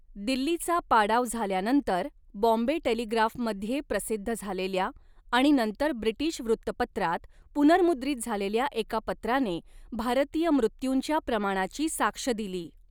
दिल्लीचा पाडाव झाल्यानंतर बॉम्बे टेलिग्राफमध्ये प्रसिद्ध झालेल्या आणि नंतर ब्रिटीश वृत्तपत्रांत पुनर्मुद्रित झालेल्या एका पत्राने भारतीय मृत्यूंच्या प्रमाणाची साक्ष दिली.